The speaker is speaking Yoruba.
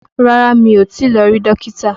Rárá, mi ò tí lọ rí Dókítà